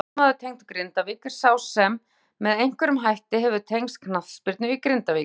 Knattspyrnumaður tengdur Grindavík er sá sem með einhverjum hætti hefur tengst knattspyrnu í Grindavík.